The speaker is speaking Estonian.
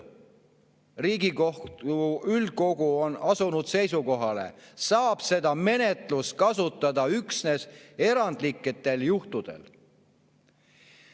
Riigikohtu üldkogu on asunud seisukohale: "Seepärast saab seda menetlust kasutada üksnes erandlikel juhtudel.